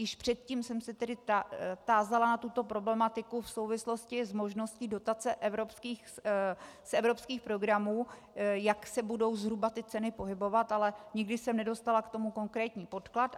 Již předtím jsem se tedy tázala na tuto problematiku v souvislosti s možností dotace z evropských programů, jak se budou zhruba ty ceny pohybovat, ale nikdy jsem nedostala k tomu konkrétní podklad.